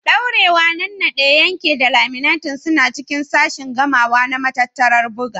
Daurewa, Nannaɗe, Yanke da Laminating suna cikin sashin gamawa na matattarar buga.